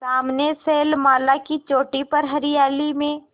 सामने शैलमाला की चोटी पर हरियाली में